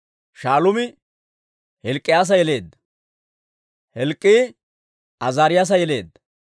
Shaaluumi Hilk'k'iyaa yeleedda; Hilk'k'ii Azaariyaasa yeleedda;